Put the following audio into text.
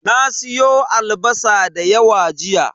Na siyo albasa da yawa jiya.